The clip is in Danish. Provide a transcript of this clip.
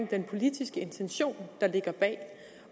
den politiske intention der ligger bag